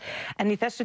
en í þessu